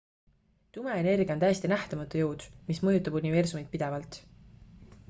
tume energia on täiesti nähtamatu jõud mis mõjutab universumit pidevalt